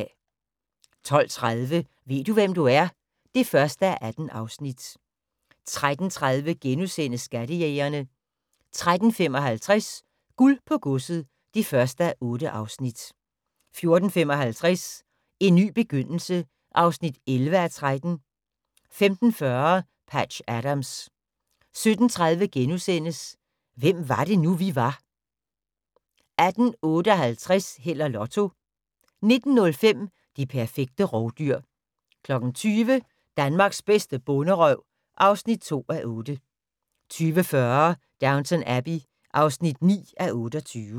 12:30: Ved du hvem du er? (1:18) 13:30: Skattejægerne * 13:55: Guld på godset (1:8) 14:55: En ny begyndelse (11:13) 15:40: Patch Adams 17:30: Hvem var det nu, vi var * 18:58: Held og Lotto 19:05: Det perfekte rovdyr 20:00: Danmarks bedste bonderøv (2:8) 20:40: Downton Abbey (9:28)